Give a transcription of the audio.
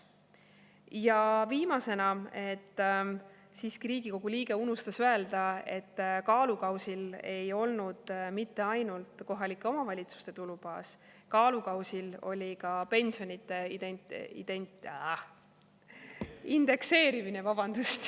Ja viimasena: Riigikogu liige unustas siiski öelda, et kaalukausil ei olnud mitte ainult kohalike omavalitsuste tulubaas, vaid kaalukausil oli ka pensionide indekseerimine.